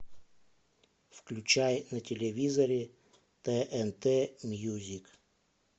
включай на телевизоре тнт мьюзик